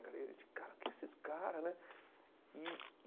Cara e a gente, cara, o que esses caras, né? E